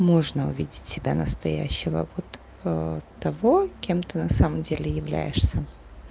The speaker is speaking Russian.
можно увидеть себя настоящего вот того кем ты на самом деле являешься